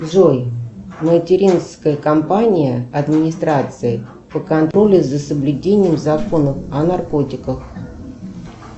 джой материнская компания администрации по контролю за соблюдением законов о наркотиках